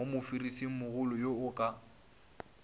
ke moofisirimogolo yo a ka